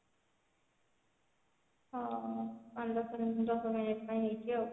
ହଁ ପାଞ୍ଚ ଦଶ ଦଶ minute ପାଇଁ ହେଇଛି ଆଉ